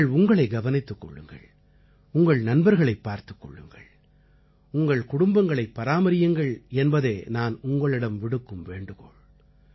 நீங்கள் உங்களை கவனித்துக் கொள்ளுங்கள் உங்கள் நண்பர்களைப் பார்த்துக் கொள்ளுங்கள் உங்கள் குடும்பங்களை பராமரியுங்கள் என்பதே நான் உங்களிடம் விடுக்கும் வேண்டுகோள்